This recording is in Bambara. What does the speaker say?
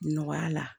Nɔgɔya la